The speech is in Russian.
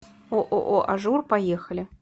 ооо ажур поехали